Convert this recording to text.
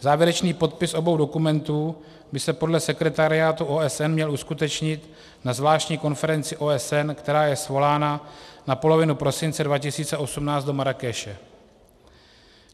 Závěrečný podpis obou dokumentů by se podle sekretariátu OSN měl uskutečnit na zvláštní konferenci OSN, která je svolána na polovinu prosince 2018 do Marrákeše.